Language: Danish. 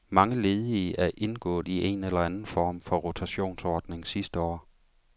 Mange ledige er indgået i en eller anden form for rotationsordning sidste år.